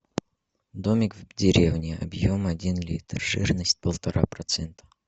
домик в деревне объем один литр жирность полтора процента